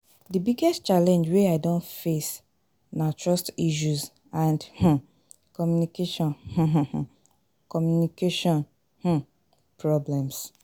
di biggest challenge wey i don face na trust issues and um communication um um communication um problems.